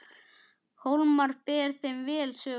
Hólmar ber þeim vel söguna.